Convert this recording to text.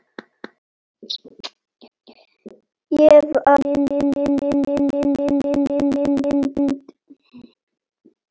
Ég varð að taka mynd.